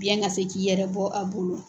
Biyɛn ka se k'i yɛrɛ bɔ a bolo.